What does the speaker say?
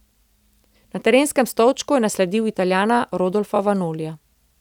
Na trenerskem stolčku je nasledil Italijana Rodolfa Vanolija.